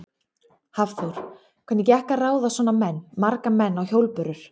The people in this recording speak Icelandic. Hafþór: Hvernig gekk að ráða svona menn, marga menn á hjólbörur?